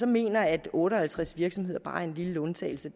mener at otte og halvtreds virksomheder bare er en lille undtagelse